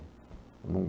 Num